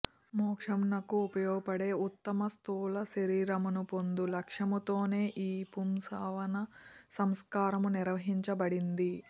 మోక్షమునకు ఉపయోగపడే ఉత్తమ స్థూల శరీరమును పొందు లక్ష్యముతోనే ఈ పుంసవన సంస్కారము నిర్ణయించబడింది